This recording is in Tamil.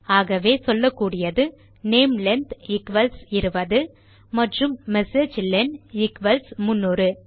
ஆகவே சொல்லக்கூடியது நாமெலென் ஈக்வல்ஸ் 20 மற்றும் மெசேஜிலன் ஈக்வல்ஸ் 300